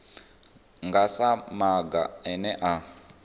nga sa maga ane a